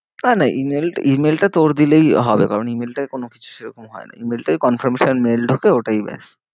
না না email, email টা তোর দিলেই হবে কারণ email টায় কোনো কিছু সেরকম হয় না email টায় confirmation ঢোকে ওটাই ব্যাস।